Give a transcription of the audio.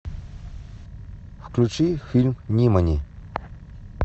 включи фильм нимани